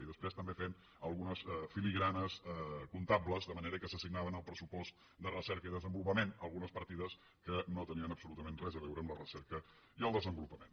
i després també fent algunes filigranes comptables de manera que s’assignaven al pressupost de recerca i desenvolupament algunes partides que no tenien absolutament res a veure amb la recerca i el desenvolupament